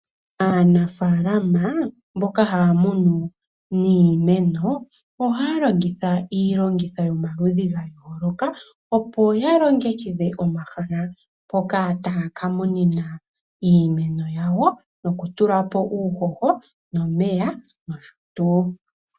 Aanafalama mboka haya munu niimeno, ohaya longitha iilongitho yomaludhi ga yooloka, opo ya longekidhe omahala mpoka taya ka munina iimeno yawo noku tulapo uuhoho nomeya noshotu.